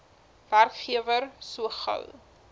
werkgewer so gou